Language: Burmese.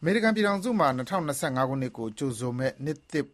အမေရိကန်ပြည်ထောင်စုမှာ ၂၀၂၅ ခုနှစ်ကို ကြိုဆိုမယ့် နှစ်သစ်